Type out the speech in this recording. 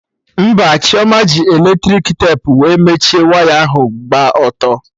Mpa Chioma ji eletrik tepu wee mechie waya ahụ gba ọtọ